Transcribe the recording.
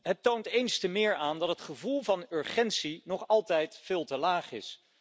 Het toont eens te meer aan dat het gevoel van urgentie nog altijd veel te laag is.